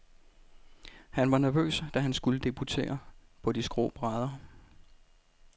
Han var nervøs, da han skulle debutere på de skrå brædder.